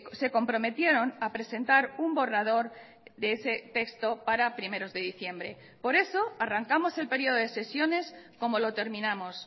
se comprometieron a presentar un borrador de ese texto para primeros de diciembre por eso arrancamos el período de sesiones como lo terminamos